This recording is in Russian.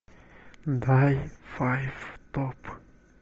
дай файв топ